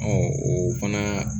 o fana